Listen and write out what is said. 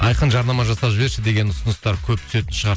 айқын жарнама жасап жіберші деген ұсыныстар көп түсетін шығар